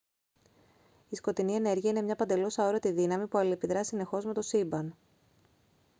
η σκοτεινή ενέργεια είναι μια παντελώς αόρατη δύναμη που αλληλεπιδρά συνεχώς με το σύμπαν